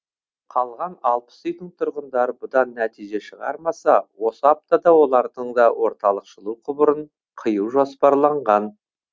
қалған алпыс үйдің тұрғындары бұдан нәтиже шығармаса осы аптада олардың да орталық жылу құбырын қию жоспарланған